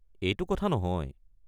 এইটো কথা নহয়।